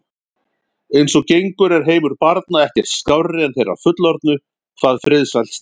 Eins og gengur er heimur barna ekkert skárri en þeirra fullorðnu hvað friðsæld snertir.